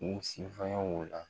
U sifanya o la.